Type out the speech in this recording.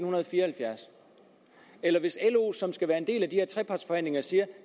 og halvfjerds eller hvis lo som skal være en del af de her trepartsforhandlinger siger